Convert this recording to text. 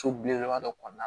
So belebeleba dɔ kɔnɔna na